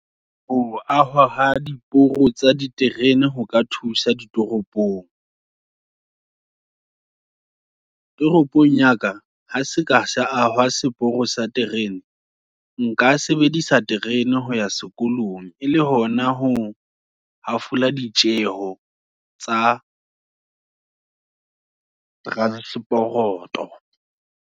Ho ahwa, ha diporo tsa diterene, ho ka thusa ditoropong. Toropong yaka, ha seka sa ahwa seporo sa terene, nka sebedisa terene, ho ya sekolong e le hona ho hafola ditjeho, tsa transporoto.